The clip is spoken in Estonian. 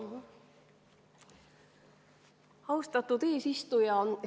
Austatud eesistuja!